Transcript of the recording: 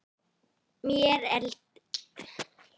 Mér er til efs.